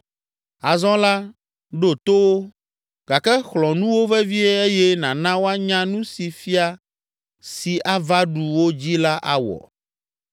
Azɔ la, ɖo to wo, gake xlɔ̃ nu wo vevie eye nàna woanya nu si fia si ava ɖu wo dzi la awɔ.”